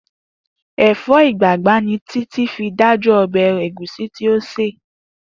Èfó̩ ìgbàgbá ni Títí fi dájú o̩bè̩ ègúsí tí ó sè